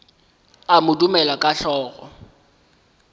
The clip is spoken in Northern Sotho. a mo dumela ka hlogo